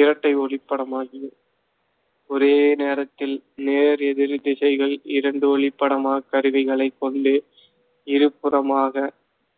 இரட்டை ஒளிப்படமாகி ஒரே நேரத்தில் நேர் எதிர்த் திசைகள் இரண்டு ஒளிப்படமா கருவிகளைக் கொண்டு இருபுறமாக